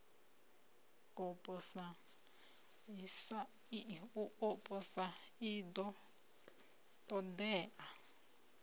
u posa i ḓo ṱoḓea